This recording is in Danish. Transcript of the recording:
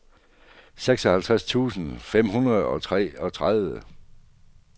seksoghalvtreds tusind fem hundrede og treogtredive